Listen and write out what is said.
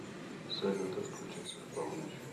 салют отключится в полночь